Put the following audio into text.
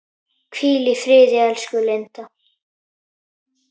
Hvíl í friði, elsku Linda.